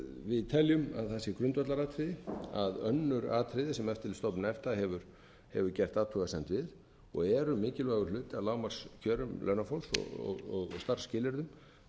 að það sé grundvallaratriði að önnur atriði sem eftirlitsstofnun efta hefur gert athugasemd við og eru mikilvægur hluti af lágmarkskjörum launafólks og starfsskilyrðum